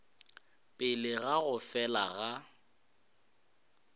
pele ga go fela ga